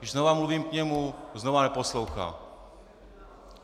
Když znova mluvím k němu, znova neposlouchá.